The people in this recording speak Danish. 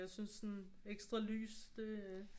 Jeg synes sådan ekstra lys det